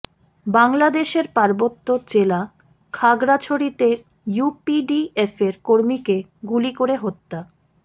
বাংলাদেশের পার্বত্য জেলা খাগড়াছড়িতে ইউপিডিএফের কর্মীকে গুলি করে হত্যা